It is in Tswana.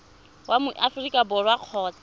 wa mo aforika borwa kgotsa